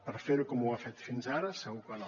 per fer ho com ho ha fet fins ara segur que no